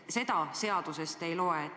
Seda seadusest ei loe.